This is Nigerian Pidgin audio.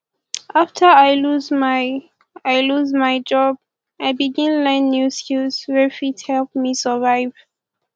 after i lose my i lose my job i begin learn new skill wey fit help me survive